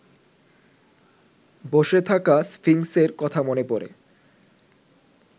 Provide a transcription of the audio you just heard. বসে থাকা স্ফিংসের কথা মনে পড়ে